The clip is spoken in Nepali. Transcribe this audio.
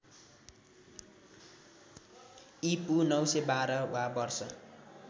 ईपू ९१२ वा वर्ष